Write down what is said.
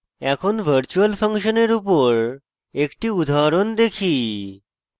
এখন virtual ফাংশনের উপর একটি উদাহরণ দেখি